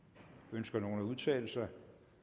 ønsker nogen at udtale sig